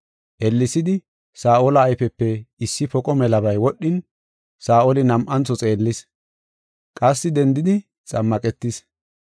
Ellesidi, Saa7ola ayfepe issi poqo melabay wodhin, Saa7oli nam7antho xeellis. Qassi dendidi xammaqetis.